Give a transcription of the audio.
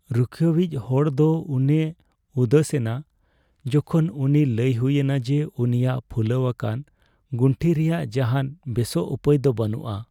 ᱨᱩᱠᱷᱟᱹᱭᱤᱤᱡ ᱦᱚᱲ ᱫᱚ ᱩᱱᱮ ᱩᱫᱟᱹᱥᱮᱱᱟ ᱡᱚᱠᱷᱚᱱ ᱩᱱᱤ ᱞᱟᱹᱭ ᱦᱩᱭᱮᱱᱟ ᱡᱮ ᱩᱱᱤᱭᱟᱜ ᱯᱷᱩᱞᱟᱹᱣ ᱟᱠᱟᱱ ᱜᱩᱱᱴᱷᱤ ᱨᱮᱭᱟᱜ ᱡᱟᱦᱟᱱ ᱵᱮᱥᱚᱜ ᱩᱯᱟᱹᱭ ᱫᱚ ᱵᱟᱹᱱᱩᱜᱼᱟ